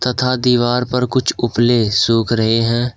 तथा दीवार पर कुछ उपले सुख रहे हैं।